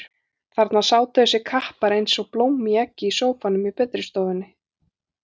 Þarna sátu þessir kappar eins og blóm í eggi í sófanum í betri stofunni.